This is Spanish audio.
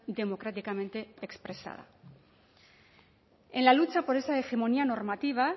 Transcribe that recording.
democráticamente expresada en la lucha por esa hegemonía normativa